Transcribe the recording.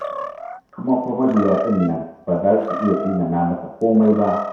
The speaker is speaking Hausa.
Kuma fa mabiya ɗin nan ba za su iya tsinana masa komai ba.